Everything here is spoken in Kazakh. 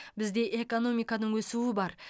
бізде экономиканың өсуі бар